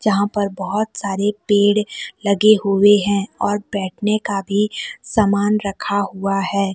यहां पर बहुत सारे पेड़ लगे हुए हैं और बैठने का भी सामान रखा हुआ है।